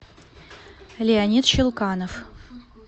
леонид щелканов